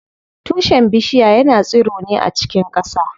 Tushen bishiya yana tsiro ne a cikin ƙasa.